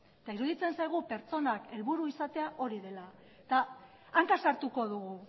eta iruditzen zaigu pertsonak helburu izatea hori dela eta hanka sartuko dugu